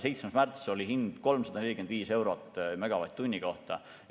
7. märtsil oli hind 345 eurot megavatt-tunni kohta.